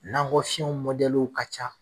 N'ankɔ fiyɛ mɔdɛliw ka ca